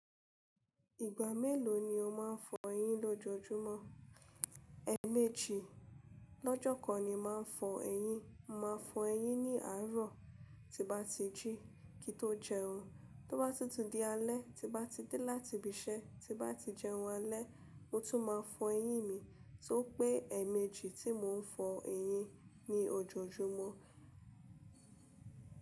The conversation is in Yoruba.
Ìgbà mélòó ni o máa ń fọ eyín lọ́jọ́júmọ́? Ẹ̀ẹ̀mejì. Lọ́jọ́ kan ni màá fọ eyín, màá fọ eyín ní àárọ̀ tí bá ti jí kíi tó jẹun. Tí ó bá títú di alẹ́, tí bá ti dé láti ibi iṣẹ́, tí bá ti jẹun alẹ́, mo tún máa fọ eyín mi. So pé ẹ̀ẹ̀mejì tí mò ń fọ eyín ni ojoojúmọ́.